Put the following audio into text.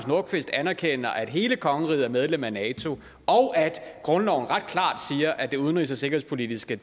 nordqvist anerkender at hele kongeriget er medlem af nato og at grundloven ret klart siger at det udenrigs og sikkerhedspolitiske